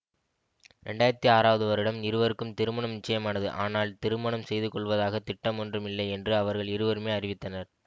இரண்டு ஆயிரத்தி ஆறாவது வருடம் இருவருக்கும் திருமணம் நிச்சயமானது ஆனால் திருமணம் செய்து கொள்வதாகத் திட்டம் ஒன்றும் இல்லை என்று அவர்கள் இருவருமே அறிவித்தனர்